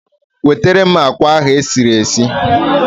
Wetara m agwa ahụ esiri esi